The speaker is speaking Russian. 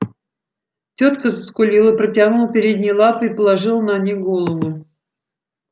тётка заскулила протянула передние лапы и положила на них голову